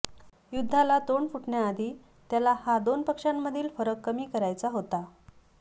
युद्धाला तोंड फुटण्याआधी त्याला हा दोन पक्षांमधील फरक कमी करायचा होता